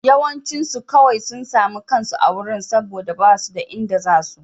Yawancinsu kawai sun sami kansu a wurin saboda ba su da inda za su.